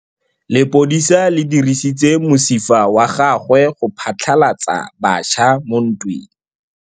Lepodisa le dirisitse mosifa wa gagwe go phatlalatsa batšha mo ntweng.